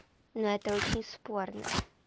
но это очень спорно